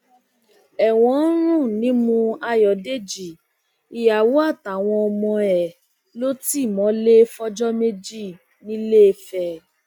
ẹwọn ń rùn nímú ayọdèjì ìyàwó àtàwọn ọmọ ẹ ló ti mọlẹ fọjọ méjì ńiléfè